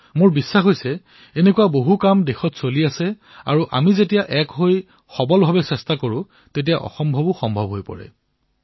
মোৰ বিশ্বাস যে এই ধৰণৰ বিভিন্ন প্ৰয়াসৰ দ্বাৰা আমি একত্ৰিত হৈ প্ৰয়াস কৰিলে অসম্ভৱকো সম্ভৱ কৰি তুলিব পাৰো